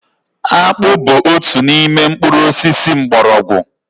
Akpu bu otu n'ime mkpuru osisi mgbọrọgwụ